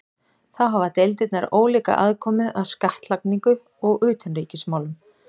Þá hafa deildirnar ólíka aðkomu að skattlagningu og utanríkismálum.